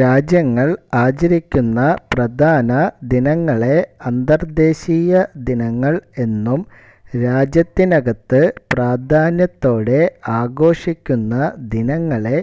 രാജ്യങ്ങൾ ആചരിക്കുന്ന പ്രധാന ദിനങ്ങളെ അന്തർദ്ദേശീയ ദിനങ്ങൾ എന്നും രാജ്യത്തിനകത്തു പ്രാധാന്യത്തോടെ ആഘോഷിക്കുന്ന ദിനങ്ങളെ